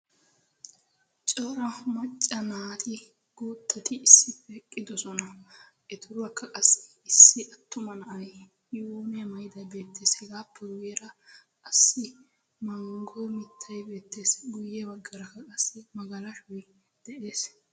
Cora macca naati guuttati issippe eqqidosona. Etuurakka qassi issi attuma na'ay yuuniya maayidaagee beettees. Hegaappe guyyeera qassi manggo mittay beettees. Guyye baggaarakka qassi magalashoy de'ees.